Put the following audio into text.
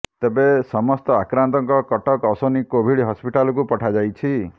ତେବେ ସମସ୍ତ ଆକ୍ରାନ୍ତଙ୍କ କଟକ ଅଶ୍ୱିନୀ କୋଭିଡ୍ ହସ୍ପିଟାଲକୁ ପଠାଯାଇଛି